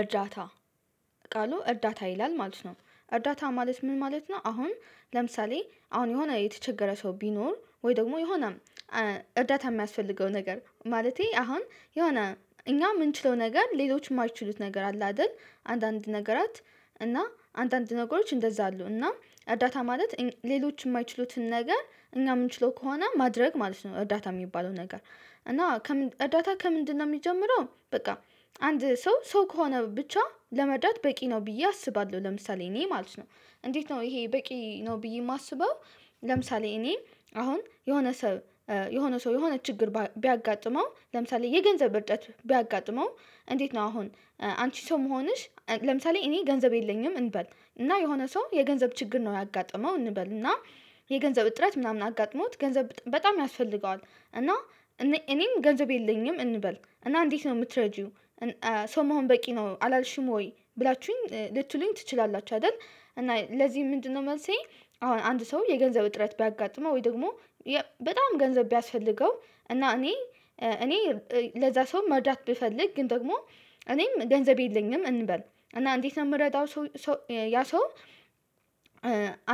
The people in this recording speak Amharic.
እርዳታ ቃሉ እርዳታ ይላል ማለት ነው። እርዳታ ማለት ምን ማለት ነው? አሁን ለምሳሌ አሁን የሆነ የተቸገረ ሰው ቢኖር ወይ ደግሞ የሆነ እርዳታ የሚያስፈልገው ነገር ማለቴ አሁን የሆነ እኛ የምንችለው ነገር ሌሎች የማይችሉት ነገር አለ። አይደል አንዳንድ ነገራት እና አንዳንድ ነገሮች እንደዛ አሉ እና አዳታ ማለት ሌሎች የማይችሉትን ነገር እኛ የምንችለው ከሆነ ማድረግ ማለት ነው። እርዳታ የሚባለው ነገር። እና እርዳታ ከምንድነው የሚጀምረው? በቃ አንድ ሰው ሰው ከሆነ ብቻ ለመርዳት በቂ ነው ብዬ አስባለሁ። ለምሳሌ እኔ ማለት ነው እንዴት ነው ይሄ በቂ ነው ብዬ የማስበው? ለምሳሌ እኔ አሁን የሆነ ሰው። የሆነ ሰው የሆነ ችግር ቢያጋጥመው ለምሳሌ የገንዘብ እጥረት ቢያጋጥመው እንዴት ነው አሁን አንቺ ሰው መሆንሽ ለምሳሌ እኔ ገንዘብ የለኝም። እንበል እና የሆነ ሰው የገንዘብ ችግር ነው ያጋጠመው እንበል እና የገንዘብ እጥረት ምናምን አጋጥሞት ገንዘብ በጣም ያስፈልገዋል። እና እኔም ገንዘብ የለኝም። እንበል እና እንዴት ነው የምትረጂው? ሰው መሆን በቂ ነው አላልሽም ወይ ብላችሁኝ ልትሉኝ ትችላላችሁ አይደል እና ለዚህ ምንድነው መልሴ? አሁን አንድ ሰው የገንዘብ እጥረት ቢያጋጥመው ወይ ደግሞ በጣም ገንዘብ ቢያስፈልገው እና እኔ እኔ ለዛ ሰውም መርድት ብፈልግ ግን ደግሞ እኔም ገንዘብ የለኝም እንበል እና እንዴት ነው የምረዳው? ያ ሰው